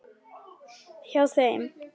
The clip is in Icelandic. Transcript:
Hjá þeim.